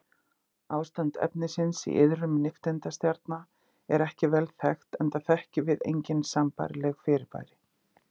Ástand efnisins í iðrum nifteindastjarna er ekki vel þekkt enda þekkjum við engin sambærileg fyrirbæri.